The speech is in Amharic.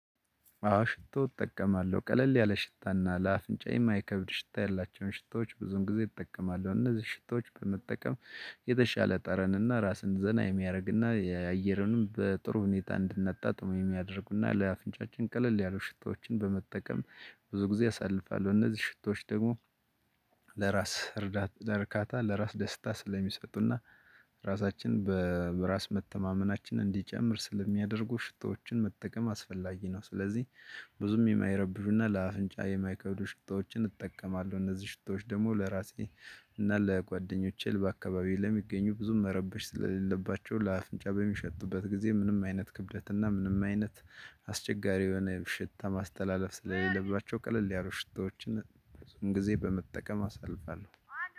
አዎ ሽቶ እጠቀማለሁ ቀለል ያለ ሽታና ለአፍንጫ የማይከብድ ሽታ ያላቸውን ሽታዎች ብዙም ጊዜ እጠቀማለሁ እነዚህ ሽቶች በመጠቀም የተሻለ ጠረንና ራስን ዘና የሚያደርግና የአየርንም በጥሩ ሁኔታ እንድናጣጣም የሚያደርጉና ለአፍንጫችን ቀለል ያሉ ሽታዎችን በመጠቀም ብዙ ጊዜ አሳልፋለሁ እነዚህ ሽቶች ደግሞ ለራስ እርዳታ ለርካታ ለራስ ደስታ ስለሚሰጡና ራሳችን በራስ መተማመናችን እንዲጨምር ስለሚያደርጉ ሽታዎችን መጠቀም አስፈላጊ ነው። ስለዚህ ብዙም የማይረብሹና ለአፍንጫ የማይከብዱ ሽታዎችን እጠቀማለሁ። እነዚህ ሽታዎች ደግሞ ለራሴ እና ለጓደኞቼ በአካባቢ ለሚገኙ ብዙም መረበሽ ስለሌለባቸው ለአፍንጫ በሚሸጡበት ጊዜ ምንም አይነት ክብደትና ምንም አይነት አስቸጋሪ የሆነ ሽታ ማስተላለፍ ስለሌለባቸው ቀለል ያሉ ሽታዎችን ብዙን ጊዜ በመጠቀም አሳልፋለሁ።